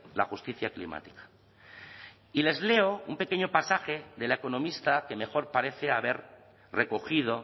la justicia climática y les leo un pequeño pasaje de la economista que mejor parece haber recogido